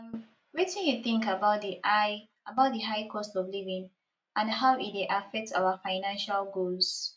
um wetin you think about di high about di high cost of living and how e dey affect our financial goals